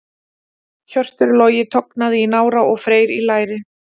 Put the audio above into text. Hjörtur Logi tognaði í nára og Freyr í læri.